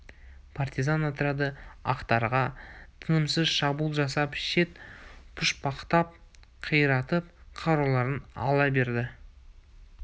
партизан отряды ақтарға тынымсыз шабуыл жасап шет пұшпақтап қиратып қаруларын ала берді